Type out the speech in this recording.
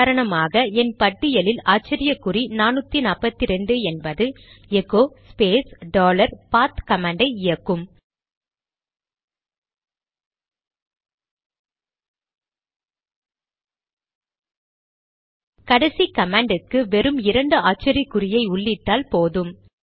உதாரணமாக என் பட்டியலில் ஆச்சரியக்குறி 442 என்பது எகோ ஸ்பேஸ் டாலர் பாத் கமாண்டை இயக்கும் கடைசி கமாண்ட்க்கு வெறும் இரண்டு ஆச்சரியக்குறியை உள்ளிட்டால் போதும்